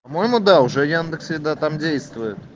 по-моему да уже яндекс еда там действует